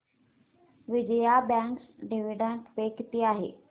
Vijaya bank dividend pay किती आहे